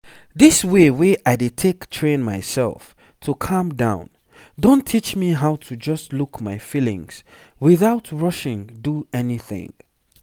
this way wey i dey take train myself to calm down don teach me how to just look my feelings without rushing do anything